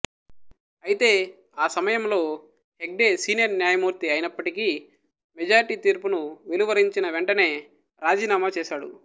అయితే ఆ సమయంలో హెగ్డే సీనియర్ న్యాయమూర్తి అయినప్పటికి మెజారిటీ తీర్పును వెలువరించిన వెంటనే రాజీనామా చేసాడు